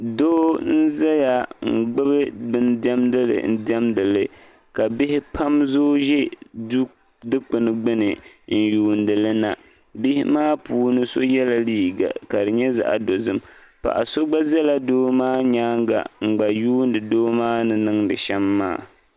Doo n zaya n gbibi bin diɛmdili n diɛmdli ka bihi pam zooi ʒɛ dikpini gbini n yuunili na bihi maa puuni so yela liiga la di nyɛ zaɣa dozim paɣa so gba zala doo maa nyaanga ka yuuni doo maa ni niŋdi shem maa.